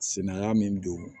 Sinaya min don